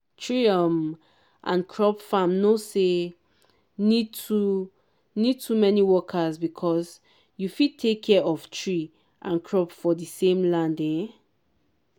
tree um and crop farm nor sey need too need too many workers because you fit take care of tree and crop for di same land. um